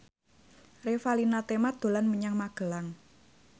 Revalina Temat dolan menyang Magelang